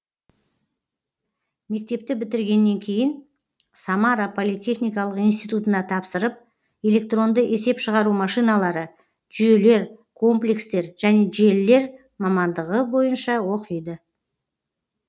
мектепті бітіргеннен кейін самара политехникалық институтына тапсырып электронды есеп шығару машиналары жүйелер комплекстер және желілер мамандығы бойынша оқиды